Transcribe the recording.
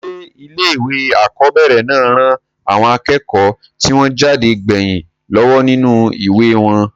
sé ilé ìwé àkọ́bẹ̀rẹ̀ náà ran àwọn akẹ́kọ̀ọ́ tí wọ́n jáde gbẹ̀yìn lọ́wọ́ nínú ìwà wọn?